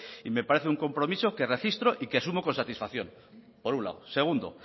y me parece un compromiso que registro y que sumo con satisfacción por un lado segundo